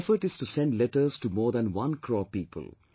My effort is to send letters to more than one crore people